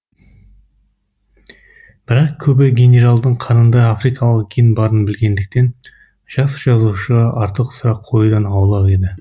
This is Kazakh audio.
бірақ көбі генералдың қанында африкалық ген барын білгендіктен жас жазушыға артық сұрақ қоюдан аулақ еді